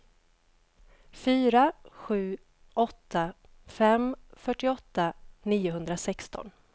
fyra sju åtta fem fyrtioåtta niohundrasexton